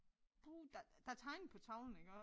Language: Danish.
Puh der der tegnet på tavlen iggå